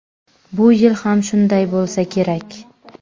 Bu yil ham shunday bo‘lsa kerak.